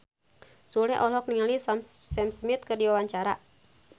Sule olohok ningali Sam Smith keur diwawancara